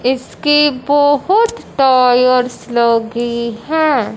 इसके बहोत टायर्स लगी है।